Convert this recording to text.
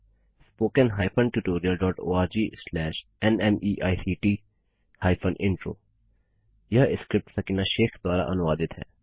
spoken hyphen tutorial dot O R G slash नमेक्ट hyphen intro यह script Sakina Shaikh द्वारा अनुवादित है